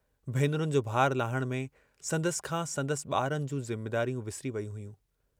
भेनरुनि जो भारु लाहण में संदसि खां संदसि ॿारनि जूं ज़िम्मेदारियूं विसरी वेयूं हुयूं।